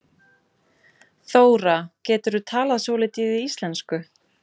Þóra: Geturðu talað svolítið í íslensku?